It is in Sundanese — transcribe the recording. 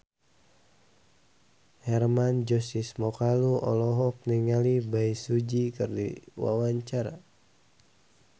Hermann Josis Mokalu olohok ningali Bae Su Ji keur diwawancara